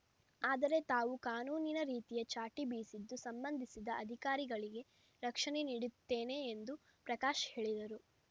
ಆದರೆ ತಾವು ಕಾನೂನಿನ ರೀತಿಯ ಚಾಟಿ ಬೀಸಿದ್ದು ಸಂಬಂಧಿಸಿದ ಅಧಿಕಾರಿಗಳಿಗೆ ರಕ್ಷಣೆ ನೀಡುತ್ತೇನೆ ಎಂದು ಪ್ರಕಾಶ್‌ ಹೇಳಿದರು